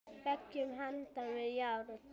Beggja handa járn.